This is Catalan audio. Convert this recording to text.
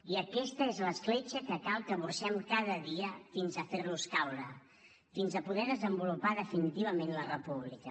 i aquesta és l’escletxa que cal que burxem cada dia fins a fer los caure fins a poder desenvolupar definitivament la república